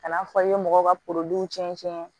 Ka n'a fɔ i bɛ mɔgɔw ka cɛncɛn